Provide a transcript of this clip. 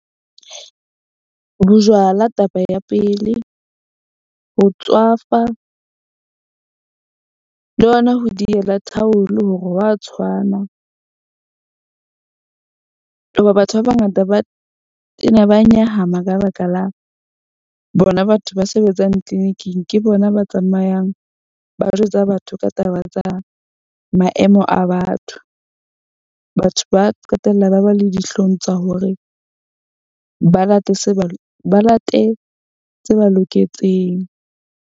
Bojwala taba ya pele, ho tswafa le ona ho diela thaulu hore hwa tshwana. Hoba batho ba bangata ba tena ba nyahama ka baka la bona batho ba sebetsang clinic-ing. Ke bona ba tsamayang ba jwetsa batho ka taba tsa maemo a batho. Batho ba qetella ba ba le dihlong tsa hore ba late se ba ba late tse ba loketseng.